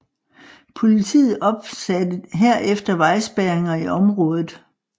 Politiet opsatte herefter vejspærringer i området